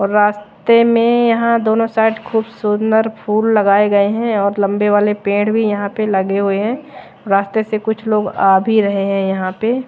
रास्ते में यहां दोनों साइड खूब सुंदर फूल लगाए गए हैं और लंबे वाले पेड़ भी यहां पे लगे हुए हैं रास्ते से कुछ लोग आ भी रहे हैं यहां पे--